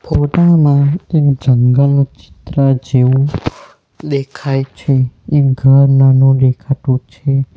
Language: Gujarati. ફોટા માં એક જંગલનું ચિત્ર જેવું દેખાય છે એક ઘર નાનો દેખાતું છે.